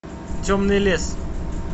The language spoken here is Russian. темный лес